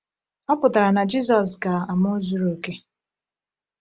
Ọ pụtara na Jizọs ga-amụ zuru oke.